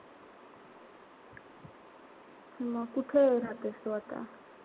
म कुठं राहतेस तू आता?